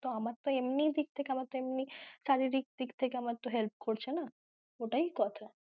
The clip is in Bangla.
ত আমার তো এমনি দিক থেকে আমার তো এমনি শারীরিক দিক থেকে help করছে না এটাই কথা।